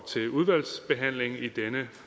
til udvalgsbehandlingen i denne